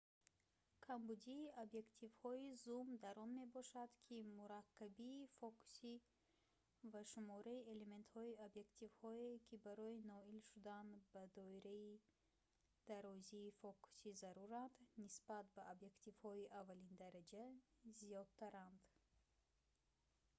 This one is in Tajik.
камбудии объективҳои зум дар он мебошад ки мураккабии фокусӣ ва шумораи элементҳои объективҳое ки барои ноил шудан ба доираи дарозии фокусӣ заруранд нисбат ба объективҳои аввалиндараҷа зиёдтаранд